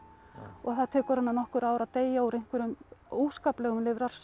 og það tekur hana nokkur ár að deyja úr einhverjum óskaplegum